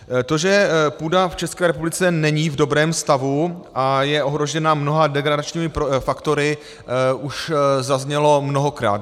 To, že půda v České republice není v dobrém stavu a je ohrožena mnoha degradačními faktory, už zaznělo mnohokrát.